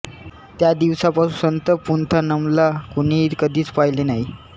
त्या दिवसापासून संत पुंथानमला कोणीही कधीच पाहिले नाही